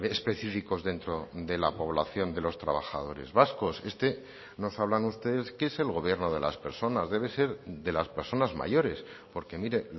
específicos dentro de la población de los trabajadores vascos este nos hablan ustedes que es el gobierno de las personas debe ser de las personas mayores porque mire